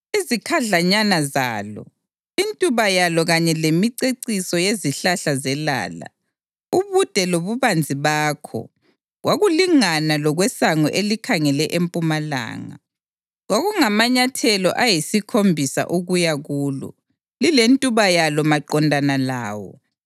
Izikhadlanyana zalo, intuba yalo kanye lemiceciso yezihlahla zelala, ubude lobubanzi bakho, kwakulingana lokwesango elikhangele empumalanga. Kwakungamanyathelo ayisikhombisa ukuya kulo, lilentuba yalo maqondana lawo.